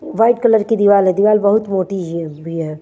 White colour की दीवार है दीवार बहुत मोटी हिह भि है।